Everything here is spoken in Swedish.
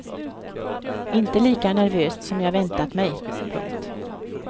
Inte lika nervöst som jag väntat mig. punkt